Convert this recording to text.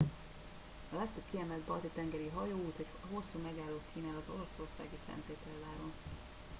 a legtöbb kiemelt balti tengeri hajóút egy hosszú megállót kínál az oroszországi szentpéterváron